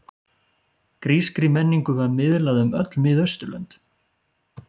Grískri menningu var miðlað um öll Miðausturlönd.